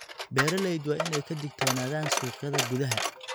Beeralayda waa in ay ka digtoonaadaan suuqyada gudaha.